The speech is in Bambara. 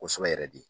Kosɛbɛ yɛrɛ de